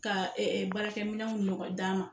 Ka ɛ ɛ baarakɛminɛnw ɲɔgɔ d'an ma